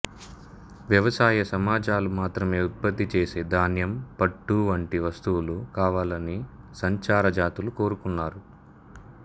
వ్యవసాయ సమాజాలు మాత్రమే ఉత్పత్తి చేసే ధాన్యం పట్టు వంటి వస్తువులు కావాలని సంచార జాతులు కోరుకున్నారు